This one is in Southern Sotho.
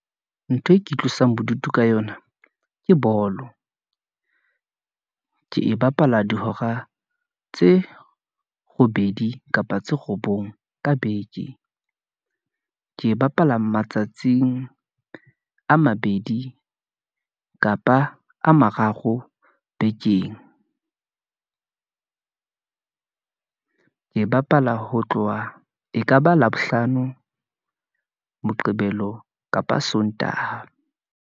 Ntho e ke itlosang bodutu ka yona ke bolo , ke e bapala dihora tse robedi, kapa tse robong ka beke , ke e bapala matsatsing a mabedi , kapa a mararo bekeng , ke e bapala ho tloha, ekaba Labohlano , moqebelo kapa sontaha.